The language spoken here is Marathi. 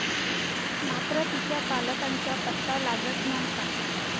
मात्र तिच्या पालकांचा पत्ता लागत नव्हता.